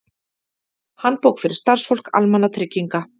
Handbók fyrir starfsfólk almannatrygginga.